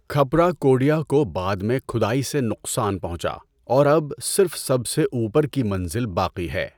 کھپرا کوڈیا کو بعد میں کھدائی سے نقصان پہنچا، اور اب صرف سب سے اوپر کی منزل باقی ہے۔